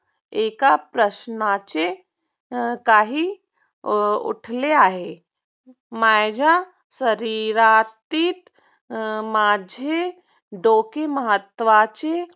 एक प्रश्नाची काही उठले आहे. माझ्या शरीरातील माझे डोके महत्वाचे